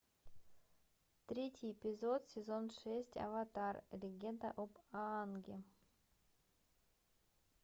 третий эпизод сезон шесть аватар легенда об аанге